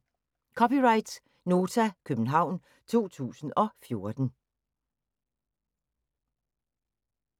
(c) Nota, København 2014